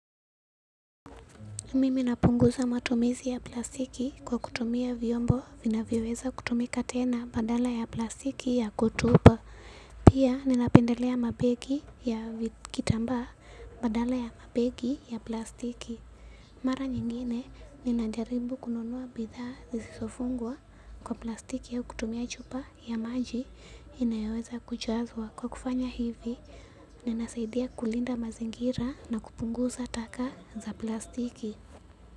Mimi napunguza matumizi ya plastiki kwa kutumia vyombo vinavyoweza kutumika tena badala ya plastiki ya kutupa. Pia ninapendelea mabegi ya vi kitambaa badala ya mabegi ya plastiki. Mara nyingine ninajaribu kununua bidhaa zisizofungwa kwa plastiki au kutumia chupa ya maji. Inayoweza kujazwa kwa kufanya hivi. Ninasaidia kulinda mazingira na kupunguza taka za plastiki.